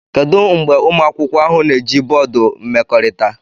Kedu mgbe ụmụ akwụkwọ ahụ na-eji bọọdụ mmekọrịta?